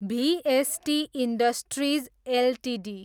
भिएसटी industries Ltd